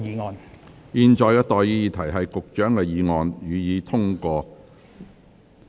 我現在向各位提出上述待決議題。